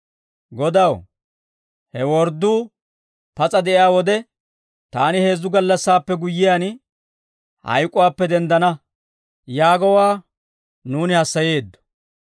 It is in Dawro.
«Godaw, he wordduu pas'a de'iyaa wode, ‹Taani heezzu gallassaappe guyyiyaan, hayk'uwaappe denddana› yaagowaa nuuni hassayeeddo.